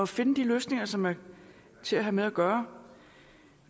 finde de løsninger som er til at have med at gøre